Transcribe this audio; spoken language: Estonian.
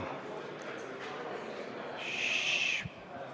Tss!